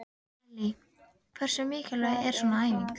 Lillý: Hversu mikilvæg er svona æfing?